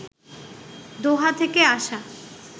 দোহা থেকে আসা